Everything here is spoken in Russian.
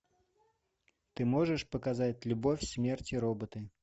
ты можешь показать любовь смерть и роботы